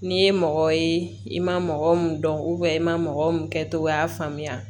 N'i ye mɔgɔ ye i ma mɔgɔ min dɔn i ma mɔgɔw kɛtogoya faamuya